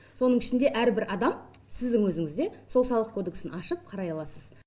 соның ішінде әрбір адам сіздің өзіңіз де сол салық кодексін ашып қарай аласыз